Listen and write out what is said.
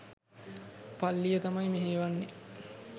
පල්ලිය තමයි මෙහෙයවන්නේ..